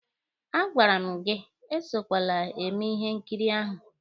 A gwara m gị esokwele eme ihe nkiri ahụ!